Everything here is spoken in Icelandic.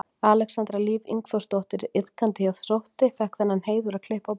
Alexandra Líf Ingþórsdóttir iðkandi hjá Þrótti fékk þann heiður að klippa á borðann.